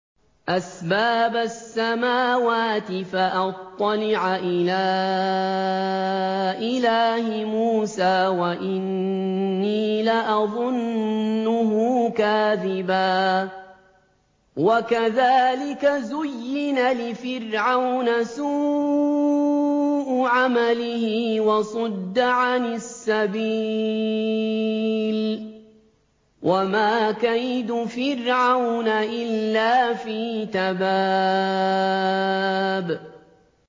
أَسْبَابَ السَّمَاوَاتِ فَأَطَّلِعَ إِلَىٰ إِلَٰهِ مُوسَىٰ وَإِنِّي لَأَظُنُّهُ كَاذِبًا ۚ وَكَذَٰلِكَ زُيِّنَ لِفِرْعَوْنَ سُوءُ عَمَلِهِ وَصُدَّ عَنِ السَّبِيلِ ۚ وَمَا كَيْدُ فِرْعَوْنَ إِلَّا فِي تَبَابٍ